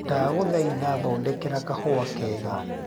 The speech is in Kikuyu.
ndagũthaĩtha thondekera kahũa kega